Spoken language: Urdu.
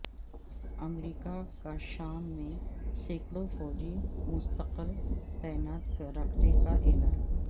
امریکا کا شام میں سیکڑوں فوجی مستقل تعینات رکھنے کا اعلان